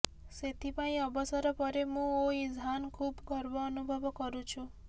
ସେଥିପାଇଁ ଅବସର ପରେ ମୁଁ ଓ ଇଜ୍ହାନ୍ ଖୁବ୍ ଗର୍ବ ଅନୁଭବ କରୁଛୁ